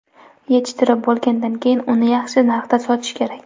Yetishtirib bo‘lgandan keyin uni yaxshi narxda sotish kerak.